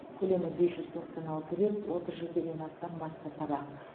көлемі бес жүз тоқсан алты бет отыз жетіден астам баспа табақ